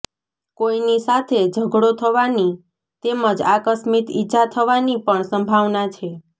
કોઈની સાથે ઝઘડો થવાની તેમજ આકસ્મિક ઈજા થવાની પણ સંભાવના છે